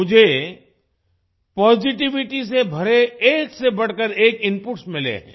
मुझे पॉजिटिविटी से भरे एक से बढ़कर एक इनपुट्स मिले हैं